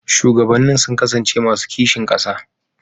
Shugabannin sun kasance masu kishin ƙasa.